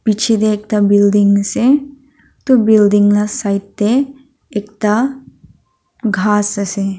piche te ekta building ase itu building la side de ekta ghaas ase.